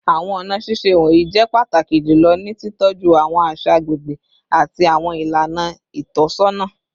Awọn ọna ṣiṣe wọnyi jẹ pataki julọ ni titọju awọn aṣa agbegbe ati awọn ilana itọsọna